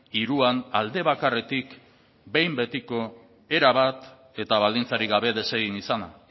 hiruan aldebakarretik behin betiko erabat eta baldintzarik gabe desegin izana